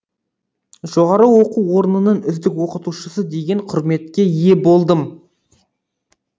жоғары оқу орнының үздік оқытушысы деген құрметке ие болдым